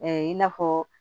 i n'a fɔ